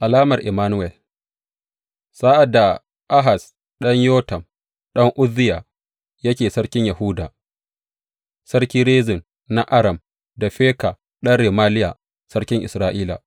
Alamar Immanuwel Sa’ad da Ahaz ɗan Yotam, ɗan Uzziya, yake sarkin Yahuda, Sarki Rezin na Aram da Feka ɗan Remaliya sarkin Isra’ila